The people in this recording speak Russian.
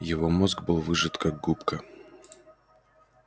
его мозг был выжат как губка